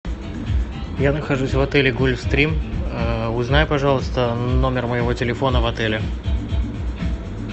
я нахожусь в отеле гольфстрим узнай пожалуйста номер моего телефона в отеле